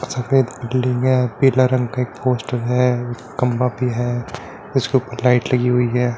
सफ़ेद बिल्डिंग है पीला रंग का एक पोस्ट है खम्भा भी है उसके उपर लाइट लगी हुई है।